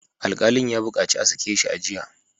Alkalin ya bukaci a sake shi a jiya!